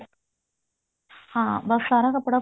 ਹਾਂ ਬੱਸ ਸਾਰਾ ਕੱਪੜਾ